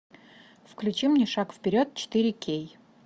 включи мне шаг вперед четыре кей